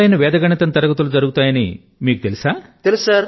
online వేద గణితం తరగతులు జరుగుతాయి అనే సంగతి మీకు తెలుసా